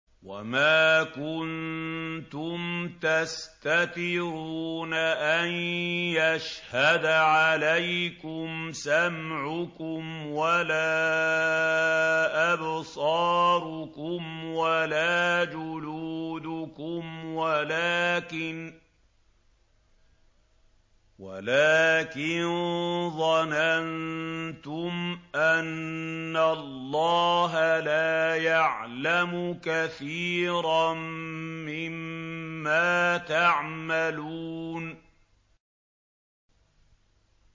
وَمَا كُنتُمْ تَسْتَتِرُونَ أَن يَشْهَدَ عَلَيْكُمْ سَمْعُكُمْ وَلَا أَبْصَارُكُمْ وَلَا جُلُودُكُمْ وَلَٰكِن ظَنَنتُمْ أَنَّ اللَّهَ لَا يَعْلَمُ كَثِيرًا مِّمَّا تَعْمَلُونَ